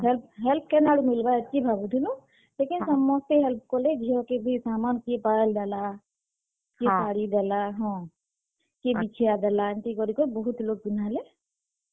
Help କେନ୍ ଆଡୁ ମିଲ୍ ବା ହେତ୍ କି ଭାବୁଥିଲୁଁ, ଲେକିନ୍ ସମସ୍ତେ help କଲେ ଝିଅ କେ ବି ସାମାନ୍ କିଏ ପାୟଲ୍ ଦେଲା କିଏ ଶାଢି ଦେଲା ହଁ, କିଏ ବିଛିଆଁ ଦେଲା ହେନ୍ତା କରିକି ବହୁତ୍ ଲୋକ୍ ପିନ୍ଧାଲେ।